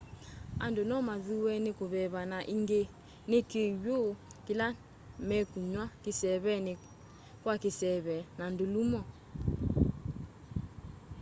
andu nomathuwe ni kuveva na ingi ni kiw'u kila mekunywa kiseeveni kwa kiseve na ndulumo